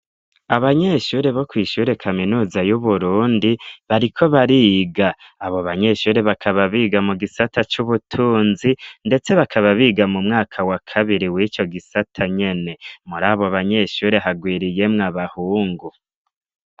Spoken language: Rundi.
Abanyeshure bo kw'ishure kaminuza y'uburundi bariko bariga. Abo banyeshure bakaba biga mu gisata c'ubutunzi ndetse bakaba biga mu mwaka wa kabiri w'ico gisata nyene. Muri abo banyeshure hagwiriyemwo abahungu.